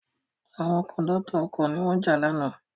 Àwọn Kòńdọ́tọ̀ ọkọ̀ ni wọ́n jà lánàá